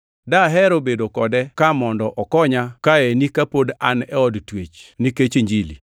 Dahero bedo kode ka mondo okonya kaeni kapod an e od twech nikech Injili.